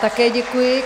Také děkuji.